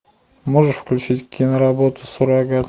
можешь включить киноработу суррогат